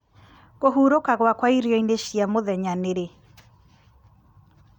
kũhurũka gwakwa irio-inĩ cia mũthenya nĩrĩ